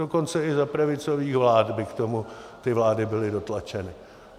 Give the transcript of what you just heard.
Dokonce i za pravicových vlád by k tomu ty vlády byly dotlačeny.